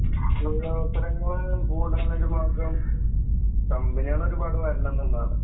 തൊഴിലവസരങ്ങൾ കൂടാനുള്ള ഒരു മാർഗ്ഗം കമ്പനികൾ ഒരുപാട് വരണം എന്നുള്ളതാണ്.